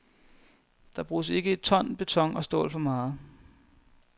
Der bruges ikke et ton beton og stål for meget.